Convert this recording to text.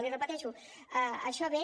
i ho repeteixo això ve